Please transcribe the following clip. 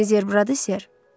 Dediyiniz yer buradır, ser?